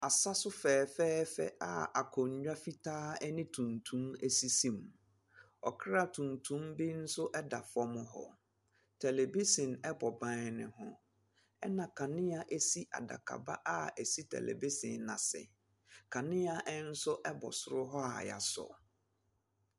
Asaso fɛɛfɛɛfɛ a akonwa fitaa ɛne tuntum esisi mu, ɔkra tuntum bi nso ɛda fɔm hɔ, televihyin ɛbɔ ban ne ho. Ɛna kanea esi adakaba a esi tɛlɛvihyin n'ase, kanea ɛnso ɛbɔ soro hɔ a yasɔ.